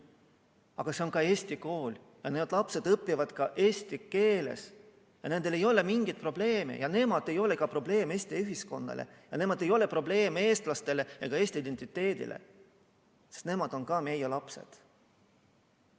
Aga see on ka Eesti kool ja need lapsed õpivad ka eesti keeles ja nendel ei ole mingeid probleeme ja nemad ei ole probleem Eesti ühiskonnale ja nemad ei ole probleem eestlastele ega Eesti identiteedile, sest nemad on ka meie lapsed.